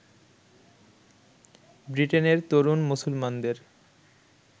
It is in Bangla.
ব্রিটেনের তরুণ মুসলমানদের